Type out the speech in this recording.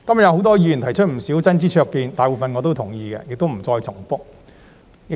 有很多議員今天提出不少真知灼見，大部分我也同意，所以不重複了。